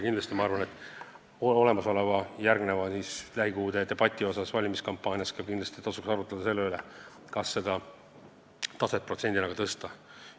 Ma arvan, et järgnevas lähikuude valimiskampaania debatis tasuks arutleda ka selle üle, kas seda taset, protsenti võiks tõsta.